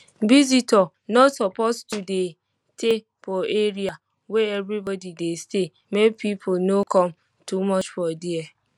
visitor no suppose to dey tey for area wey everybody dey stay make people no come too much for dia